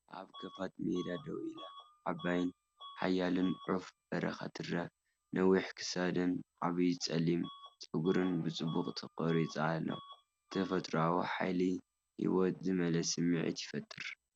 ኣብ ክፉት ሜዳ ደው ኢላ፡ ዓባይን ሓያልን ዑፍ በረኻ ትርአ። ነዊሕ ክሳዱን ዓቢ ጸሊም ጸጉሩን ብጽቡቕ ተቐሪጹ ኣሎ፤ ተፈጥሮኣዊ ሓይሊ ህይወት ዝመልአ ስምዒት ይፈጥር።